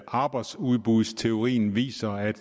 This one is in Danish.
arbejdsudbudsteorien viser at